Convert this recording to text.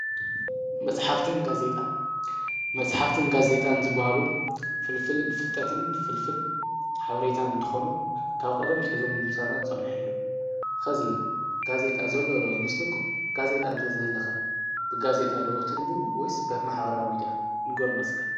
መጽሕፍትን ጋዜጣን መጽሕፍትን ጋዜይጣን ዝበሃሉ ፍልፍል ፍልጠትን ፍልፍል ሓብሬታ እንተኾኑ ካብ ቐደም ትሕዞም ምሳናት ዝጸንሐ እዮም ኸዚ ጋዜይጣ ዘሎዶዊ ይምስልኩም ጋዘይጣን እንተ ዝህልኸ ብጋዜይጣ ዶኡ ትንብብ ወይስ ብማኅበራዊ ሚድያ ንጐርናስካ?